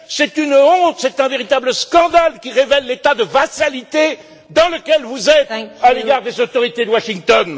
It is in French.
C'est une honte, c'est un véritable scandale qui révèle l'état de vassalité dans lequel vous êtes à l'égard des autorités de Washington.